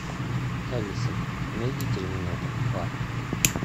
алиса найди терминатор два